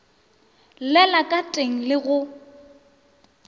llela ka teng le go